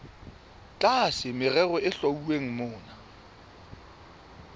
tlasa merero e hlwauweng mona